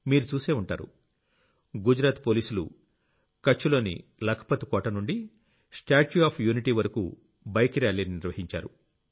మీరు చూసే ఉంటారు గుజరాత్ పోలీసులు కచ్ లోని లఖ్ పత్ కోటనుండి స్టాచ్యూ ఆఫ్ యూనిటీ వరకూ బైక్ ర్యాలీని నిర్వహించారు